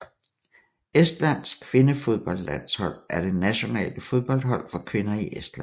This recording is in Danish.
Estlands kvindefodboldlandshold er det nationale fodboldhold for kvinder i Estland